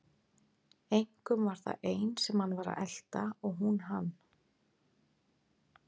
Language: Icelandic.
Einkum var það ein sem hann var að elta og hún hann.